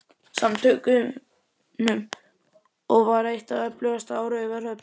Samtökunum og var eitt það öflugasta á Raufarhöfn.